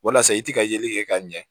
Walasa i ti ka yeli kɛ ka ɲɛ